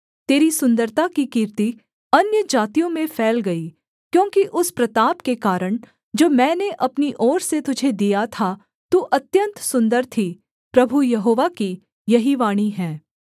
तेरी सुन्दरता की कीर्ति अन्यजातियों में फैल गई क्योंकि उस प्रताप के कारण जो मैंने अपनी ओर से तुझे दिया था तू अत्यन्त सुन्दर थी प्रभु यहोवा की यही वाणी है